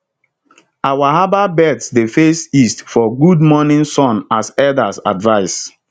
our herbal beds dey face east for good morning sun as elders advise